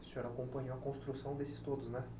E o senhor acompanhou a construção desses todos, né?